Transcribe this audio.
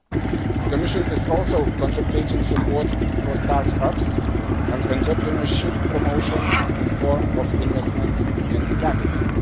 The Commission is also contemplating support for start ups and entrepreneurship promotion in the form of investments in capital.